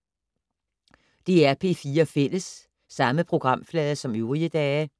DR P4 Fælles